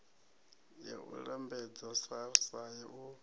ya u lambedza srsa u